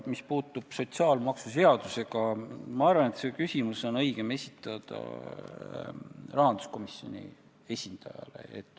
Mis puudutab sotsiaalmaksuseadust, siis ma arvan, et see küsimus on õigem esitada rahanduskomisjoni esindajale.